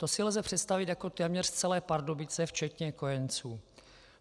To si lze představit jako téměř celé Pardubice včetně kojenců.